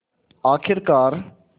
आख़िरकार